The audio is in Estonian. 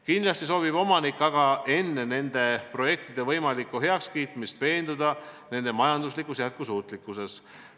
Kindlasti soovib omanik aga enne nende projektide võimalikku heakskiitmist veenduda nende majanduslikus jätkusuutlikkuses.